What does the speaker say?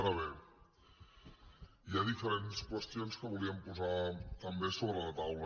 ara bé hi ha diferents qüestions que volíem posar també sobre la taula